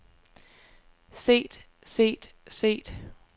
set set set